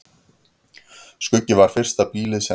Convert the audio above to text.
Skuggi var fyrsta býlið sem reist var á þessum slóðum.